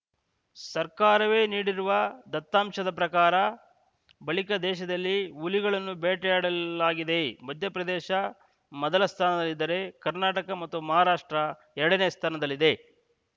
ಸರ್ಕಾರವೇ ನೀಡಿರುವ ದತ್ತಾಂಶದ ಪ್ರಕಾರ ಬಳಿಕ ದೇಶದಲ್ಲಿ ಹುಲಿಗಳನ್ನು ಬೇಟೆಯಾಡಲಾಗಿದೆ ಮಧ್ಯಪ್ರದೇಶ ಮೊದಲ ಸ್ಥಾನದಲ್ಲಿದ್ದರೆ ಕರ್ನಾಟಕ ಮತ್ತು ಮಹಾರಾಷ್ಟ್ರ ಎರಡನೇ ಸ್ಥಾನದಲ್ಲಿದೆ